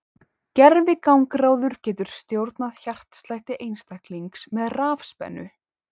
Gervigangráður getur stjórnað hjartslætti einstaklinga með rafspennu.